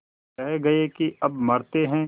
कह गये के अब मरते हैं